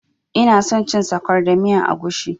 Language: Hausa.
Ina son cin sakwara da miyan agushi